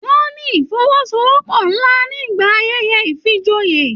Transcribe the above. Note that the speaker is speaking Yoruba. Wọn ní ifọ́wọ́sowọ́pọ̀ nlá nígbà ayẹyẹ ifíjòyè.